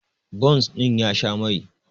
bons ɗin ya Sha Mai